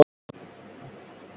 Þeir stóðu á fætur.